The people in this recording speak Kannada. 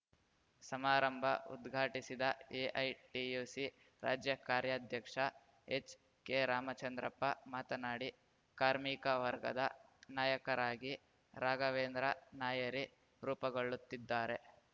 ಸಮಾರಂಭ ಉದ್ಘಾಟಿಸಿದ ಎಐಟಿಯುಸಿ ರಾಜ್ಯ ಕಾರ್ಯಾಧ್ಯಕ್ಷ ಎಚ್‌ಕೆರಾಮಚಂದ್ರಪ್ಪ ಮಾತನಾಡಿ ಕಾರ್ಮಿಕ ವರ್ಗದ ನಾಯಕರಾಗಿ ರಾಘವೇಂದ್ರ ನಾಯರಿ ರೂಪುಗೊಳ್ಳುತ್ತಿದ್ದಾರೆ